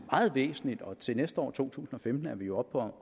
meget væsentligt og til næste år i to tusind og femten er vi oppe